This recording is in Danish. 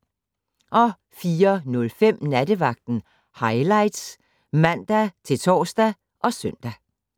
04:05: Nattevagten Highlights (man-tor og søn)